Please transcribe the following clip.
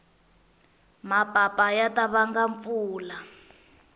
mapapa ya ta vanga mpfula